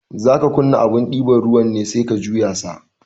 Zaka kunna abun ɗiban ruwan ne sai ka juya sa